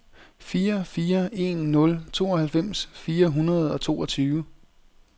fire fire en nul tooghalvfems fire hundrede og toogtyve